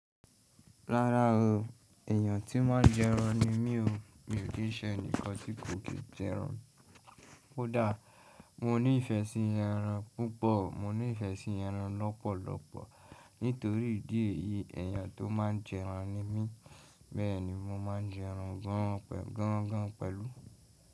Rárá o, èyàn tí máa ń jẹran ni mí o. Mi ò kí ṣe ẹni kan tí kò kì í jẹran. Ó dà? Mo ní ìfẹ́ sí ẹran púpọ̀. Mo ní ìfẹ́ sí ẹran lọ́pọ̀lọ́pọ̀ nítorí ìdí èyí, èyàn tó máa ń jẹran ni mí. Bẹ́ẹ̀ni mo máa ń jẹ ẹran gan gan pẹ̀lú.